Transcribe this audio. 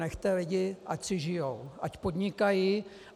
Nechte lidi, ať si žijí, ať podnikají.